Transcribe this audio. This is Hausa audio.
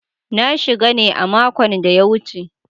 Na shiga ne a makon da ya wuce.